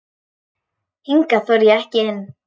Hingað þori ég ekki inn.